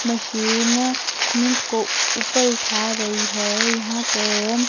machine cement को ऊपर उठा रही है यहां पर हम--